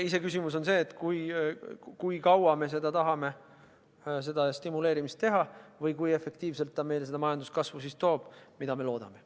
Iseküsimus on see, kui kaua me tahame majandust stimuleerida või kui efektiivselt see meile majanduskasvu toob, mida me loodame.